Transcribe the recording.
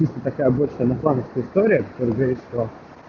история человечества